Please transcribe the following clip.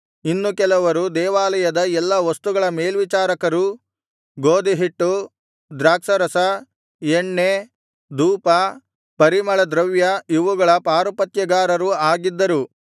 ಇನ್ನು ಕೆಲವರು ದೇವಾಲಯದ ಎಲ್ಲಾ ವಸ್ತುಗಳ ಮೇಲ್ವಿಚಾರಕರೂ ಗೋದಿಹಿಟ್ಟು ದ್ರಾಕ್ಷಾರಸ ಎಣ್ಣೆ ಧೂಪ ಪರಿಮಳದ್ರವ್ಯ ಇವುಗಳ ಪಾರುಪತ್ಯಗಾರರು ಆಗಿದ್ದರು